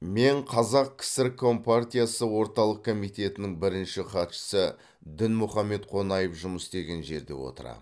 мен қазақ кср компартиясы орталық комитетінің бірінші хатшысы дінмұхаммед қонаев жұмыс істеген жерде отырамын